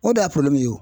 O de y'a ye o